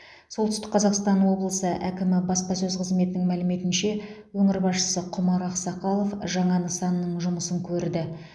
солтүстік қазақстан облысы әкімі баспасөз қызметінің мәліметінше өңір басшысы құмар ақсақалов жаңа нысанның жұмысын көрді